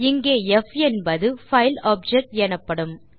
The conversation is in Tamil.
இங்கே ப் என்பது பைல் ஆப்ஜெக்ட் எனப்படும்